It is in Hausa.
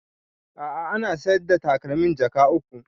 A'a ana sayar the takalmin jaka uku